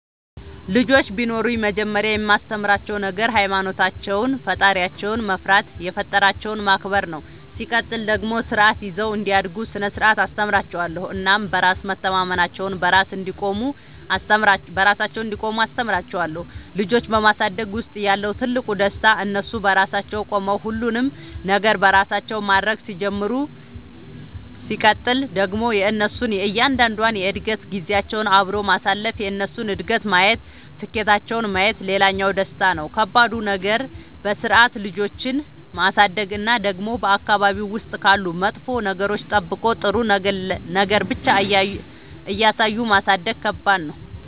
ልጆች ቢኖሩኝ መጀመሪያ የማስተምራቸዉ ነገር ሃይማኖታቸውን ፈጣሪያቸውን መፍራት የፈጠራቸውን ማክበር ነው ሲቀጥል ደግሞ ስርዓት ይዘው እንዲያድጉ ስነ ስርዓት አስተምራችኋለሁ እናም በራስ መተማመናቸውን, በራሳቸው እንዲቆሙ አስተምራቸዋለሁ። ልጆች በማሳደግ ውስጥ ያለው ትልቁ ደስታ እነሱ በራሳቸው ቆመው ሁሉንም ነገር በራሳቸው ማድረግ ሲጀምሩ ሲቀጥል ደግሞ የእነሱን እያንዳንዷን የእድገት ጊዜያቸውን አብሮ ማሳለፍ የእነሱን እድገት ማየት ስኬታቸውን ማየት ሌላኛው ደስታ ነው። ከባዱ ነገር በስርዓት ልጆችን ማሳደግ እና ደግሞ በአካባቢ ውስጥ ካሉ መጥፎ ነገሮች ጠብቆ ጥሩ ነገር ብቻ እያሳዩ ማሳደግ ከባድ ነው።